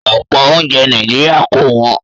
Ọ̀pọ̀ oúnjẹ Nàìjíríà kò wọ́n